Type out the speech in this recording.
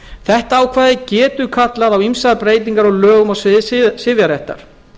þetta ákvæði getur kallað á ýmsar breytingar á lögum á sviði sifjaréttar